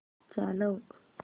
चालव